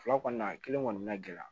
Fila kɔni na kelen kɔni ma gɛlɛya